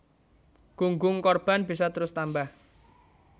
Gunggung korban bisa terus tambah